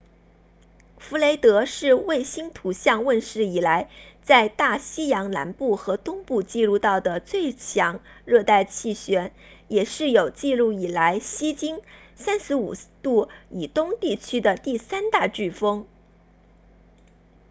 弗雷德是卫星图像问世以来在大西洋南部和东部记录到的最强热带气旋也是有记录以来西经 35° 以东地区的第三大飓风